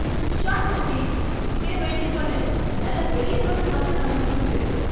Shot, மச்சி! இப்படியே maintain பண்ணு. நல்ல பெரிய டோட்டல் வந்துடும் நம்ம டீமுக்கு.